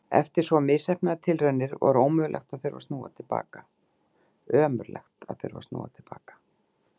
Eftir svo misheppnaðar tilraunir var ömurlegt að þurfa að snúa til baka.